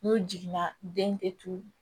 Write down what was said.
N'o jiginna den te tuuru